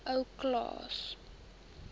ou klaas